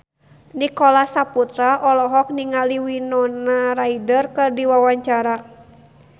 Nicholas Saputra olohok ningali Winona Ryder keur diwawancara